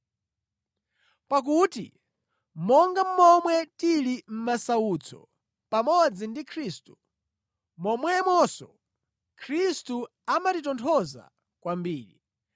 Pakuti monga momwe tili mʼmasautso pamodzi ndi Khristu, momwemonso Khristu amatitonthoza kwambiri.